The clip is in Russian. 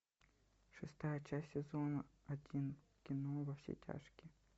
шестая часть сезона один кино во все тяжкие